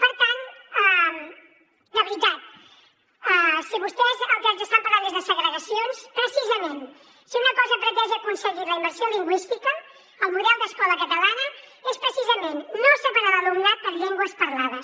per tant de veritat si vostès del que ens estan parlant és de segregacions precisament si una cosa ha pretès i ha aconseguit la immersió lingüística el model d’escola catalana és precisament no separar l’alumnat per llengües parlades